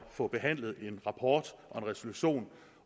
få behandlet en rapport og en resolution